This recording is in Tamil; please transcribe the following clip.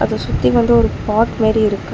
சோ சுத்தி வந்து ஒரு பாட் மாத்ரி இருக்கு.